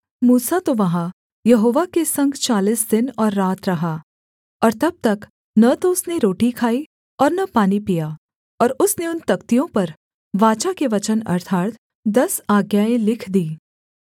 मूसा तो वहाँ यहोवा के संग चालीस दिन और रात रहा और तब तक न तो उसने रोटी खाई और न पानी पिया और उसने उन तख्तियों पर वाचा के वचन अर्थात् दस आज्ञाएँ लिख दीं